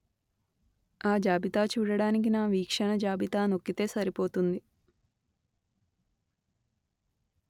ఆ జాబితా చూడడానికి నా వీక్షణ జాబితా నొక్కితే సరిపోతుంది